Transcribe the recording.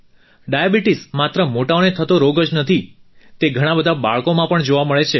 diabetes માત્ર મોટાઓને થતો રોગ જ નથી તે ઘણાં બધાં બાળકોમાં પણ જોવા મળે છે